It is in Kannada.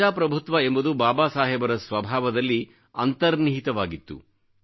ಪ್ರಜಾಪ್ರಭುತ್ವ ಎಂಬುದು ಬಾಬಾ ಸಾಹೇಬರ ಸ್ವಭಾವದಲ್ಲಿ ಅಂತರ್ನಿಹಿತವಾಗಿತ್ತು